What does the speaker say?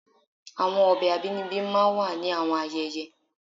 Awọn ọbẹ abinibi máà ń wa ni awọn ayẹyẹ